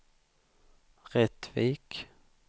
Rättvik